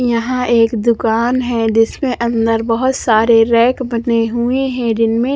यहाँ ये एक दुकान है जिसमे अंदर बहुत सारे रैक बने हुए है जिनमे--